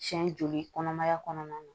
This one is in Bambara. Siɲɛ joli kɔnɔmaya kɔnɔna na